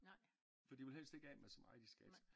Fordi de vil helt ikke af med så meget i skat